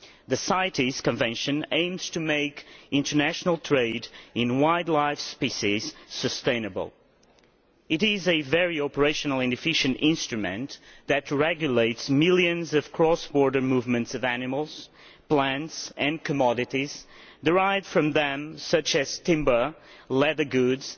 The CITES Convention aims to make international trade in wildlife species sustainable. It is a very operational and efficient instrument that regulates millions of cross border movements of animals, plants and commodities derived from them, such as timber, leather goods,